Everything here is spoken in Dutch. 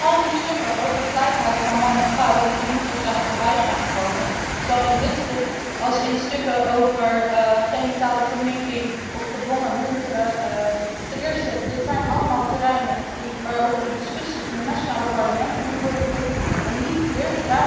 Al die verslagen over gelijkheid van man en vrouw die tot nu toe voorbij zijn gekomen, zowel dit verslag als verslagen over genitale verminking of gedwongen huwelijken ten eerste zijn dit allemaal terreinen waarover de discussie in de nationale parlementen moet worden gevoerd en niet hier.